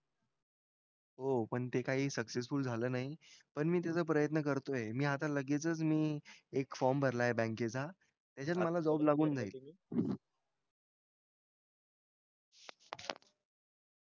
हो पण ते काही successful झालं नाही पण मी त्याच प्रयत्न्न करतोय मी आता लगेचच मी एक FORM भरलाय BANK चा त मला JOB लागुन जाईल